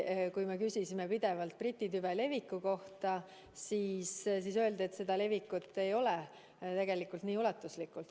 Kui me küsisime pidevalt Briti tüve leviku kohta, siis öeldi, et see levik ei ole tegelikult nii ulatuslik.